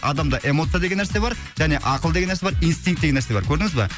адамда эмоция деген нәрсе бар және ақыл деген нәрсе бар инстинк деген нәрсе бар көрдіңіз ба